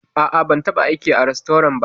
A'a, ban taɓa aiki a rastorant ba.